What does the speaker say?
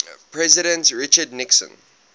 president richard nixon